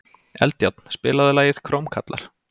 Eldjárn, spilaðu lagið „Krómkallar“.